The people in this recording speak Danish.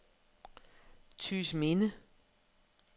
Tygesminde